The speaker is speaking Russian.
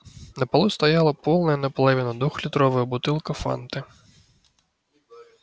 на полу стояла полная наполовину двухлитровая бутылка фанты